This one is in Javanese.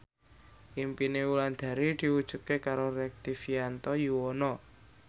impine Wulandari diwujudke karo Rektivianto Yoewono